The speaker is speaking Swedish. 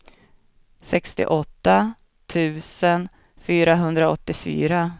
sextioåtta tusen fyrahundraåttiofyra